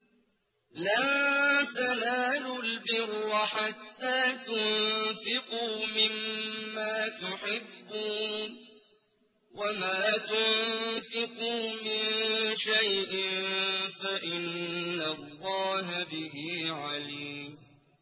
لَن تَنَالُوا الْبِرَّ حَتَّىٰ تُنفِقُوا مِمَّا تُحِبُّونَ ۚ وَمَا تُنفِقُوا مِن شَيْءٍ فَإِنَّ اللَّهَ بِهِ عَلِيمٌ